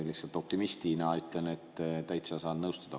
Lihtsalt optimistina ütlen, et saan täitsa nõustuda.